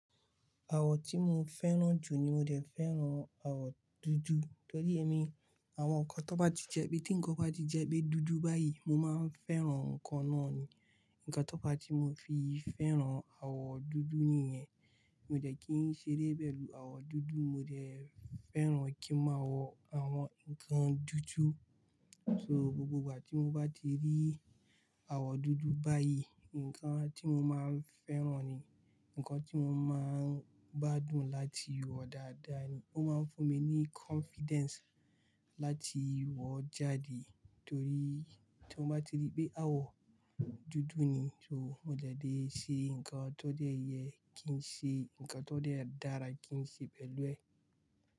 Àwọ̀ tí mo fẹ́ràn jù ni mo dẹ̀ fẹ́ràn àwọ̀ dúdú. Torí emi, àwọn nǹkan tó bá ti jẹ́ pé tí ǹkan bá ti jẹ́ pé dúdú báyìí, mo máa ń fẹ́ràn ǹkan náà ni. Ǹkan tó bá ti mo fi fẹ́ràn àwọ̀ dúdú nìyẹn, mo dẹ̀ kí ń ṣe eré pẹ̀lú àwọ̀ dúdú, mo dẹ̀ fẹ́ràn kí máa wọ àwọn ǹkan dúdú. So gbogbo ìgbà tí mo bá ti rí àwọ̀ dúdú báyìí, ǹkan tí mo máa ń fẹ́ràn ni, ǹkan tí mo máa ń gbádùn láti wọ dáadáa ni. Ó máa ń fún mi ní confidence láti wọ jáde torí tí mo bá ti rí pé àwọ̀ dúdú ni, so mo dẹ̀ lé ṣe ǹkan tó dẹ̀ yẹ kí ń ṣe, ǹkan tó dẹ̀ dára kí ń ṣe pẹ̀lú ẹ̀.